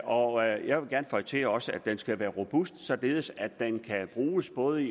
og jeg vil gerne føje til at den også skal være robust således at den kan bruges i både